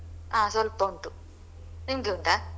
ಹ ಸ್ವಲ್ಪ ಉಂಟು ನಿಮ್ದು ಉಂಟಾ?